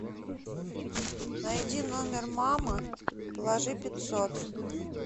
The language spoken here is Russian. найди номер мамы положи пятьсот